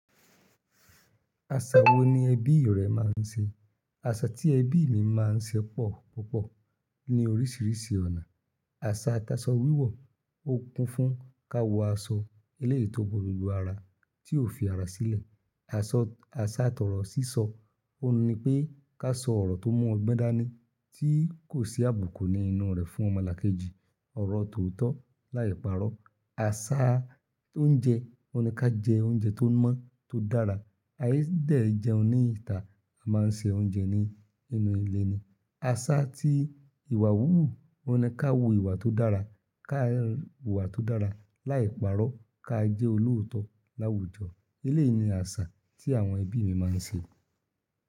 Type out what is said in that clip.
Aṣa wo ni ẹbí rẹ máa ń ṣe? Aṣa tí ẹbí mi máa ń ṣe pọ̀ púpọ̀ ní oríṣiríṣi ọ̀nà. Aṣa t'asọ wíwọ̀, ó kún fún ká wọ aṣọ eleyi tó bo gbogbo ara, tí ó fi ara sílẹ̀. Aṣa, tọrọ sísọ, ó n ní pé ká sọ ọ̀rọ̀ tó mu ọgbọ́n dání, tí kò sí àbùkù ní inú rẹ̀ fún ọmọlàkejì. Ọ̀rọ̀ tóotọ̀ láì parọ́. Aṣa tó ń jẹ, ó ní ká jẹ oúnjẹ tó mọ́, tó dára. A i dẹ̀ jẹun ní ìta, a máa ń se oúnjẹ ní inú ilé ni. Aṣa tí ìwà wúwù, ó ní ká wu ìwà tó dára, ká wu ìwà tó dára láì parọ́, ká jẹ́ olóòótọ́ láwùjọ. Eléyìí ni àṣà tí àwọn ẹbí mi máa ń ṣe.